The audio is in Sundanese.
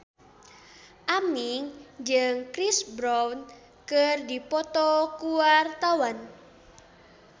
Aming jeung Chris Brown keur dipoto ku wartawan